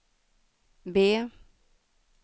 B